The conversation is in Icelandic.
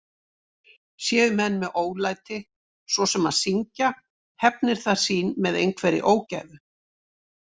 Séu menn með ólæti, svo sem að syngja, hefnir það sín með einhverri ógæfu.